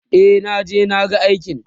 e naje na ga alkalin